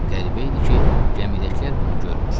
Qəribə idi ki, gəmidəkilər bunu görmür.